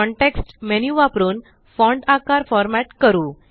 context menu वापरून font आकार format करू